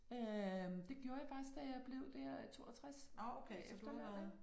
Øh det gjorde jeg faktisk da jeg blev der 62 efterløn ik